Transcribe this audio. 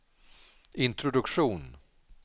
introduktion